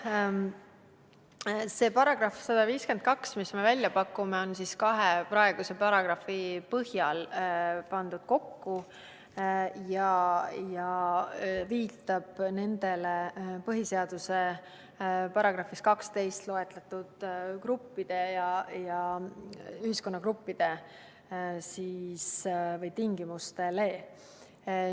See § 152, mille me välja pakume, on kahe praeguse paragrahvi põhjal kokku pandud ja viitab põhiseaduse §-s 12 loetletud gruppidele või tingimustele.